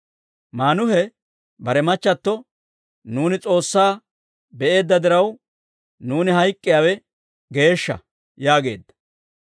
Maanuhe bare machchatto, «Nuuni S'oossaa be'eedda diraw, nuuni hayk'k'iyaawe geeshsha» yaageedda.